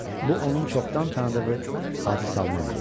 Bu onun çoxdan tanıdığı Hacı Salman idi.